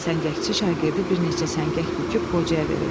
Səngəkçi şagirdi bir neçə səngək büküb qocaya verir.